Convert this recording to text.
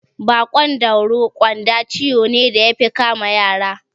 Baƙon dauro (ƙyanda) ciwo ne da yafi kama yara